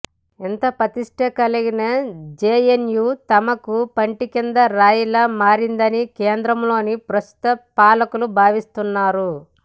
ఇంత ప్రతిష్ట కలిగిన జేఎన్యూ తమకు పంటికింద రాయిలా మారిందని కేంద్రంలోని ప్రస్తుత పాలకులు భావిస్తున్నారు